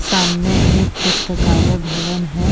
सामने एक पुस्तकालय भवन है ।